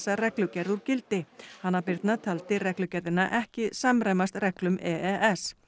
reglugerð úr gildi hanna Birna taldi reglugerðina ekki samræmast reglum e e s